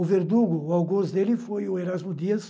O Verdugo, o Auguste dele, foi o Erasmo Dias,